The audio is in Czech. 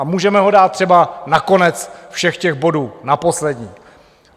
A můžeme ho dát třeba na konec všech těch bodů, jako poslední.